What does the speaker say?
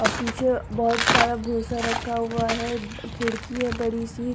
और पीछे बहुत सारा भूसा रखा हुआ है। खिड़की है बड़ी सी।